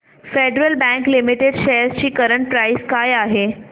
federal Bank Limited shares ची current price काय आहे